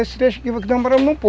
Esse trecho aqui